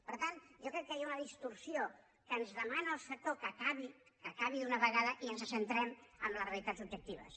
per tant jo crec que hi ha una distorsió que ens demana el sector que acabi que acabi d’una vegada i ens centrem en les realitats objectives